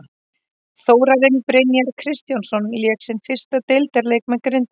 Þórarinn Brynjar Kristjánsson lék sinn fyrsta deildarleik með Grindavík.